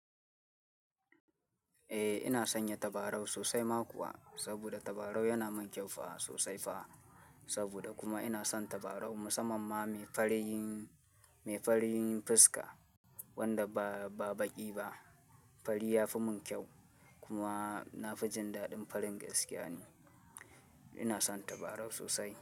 Eh ina san yin tabarau sosai ma kuwa, saboda tabarau yana min kyau fa sosai fa. Saboda kuma ina son tabarau musamamma mai farin yin, mai farin yin fiska wanda ba, ba baƙi ba. Fari ya fi mun kyau kuma na fi jin daɗin farin gaskiya ne. Ina son tabarau sosai.